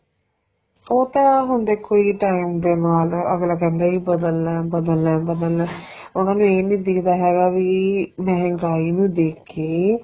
ਉਹ ਤਾਂ ਹੁਣ ਦੇਖੋ ਜੀ time ਦੇ ਨਾਲ ਅੱਗਲਾ ਕਹਿੰਦਾ ਜੀ ਬਦਲਣਾ ਬਦਲਣਾ ਬਦਲਣਾ ਉਹਨਾ ਨੂੰ ਇਹ ਨੀਂ ਦਿਖਦਾ ਹੈਗਾ ਵੀ ਮਹਿੰਗਾਈ ਨੂੰ ਦੇਖ ਕੇ